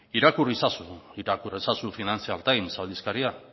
irakur ezazu financial times aldizkaria